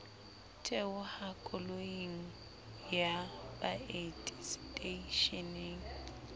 theoha koloing ya baeti seteishening